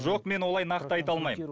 жоқ мен олай нақты айта алмаймын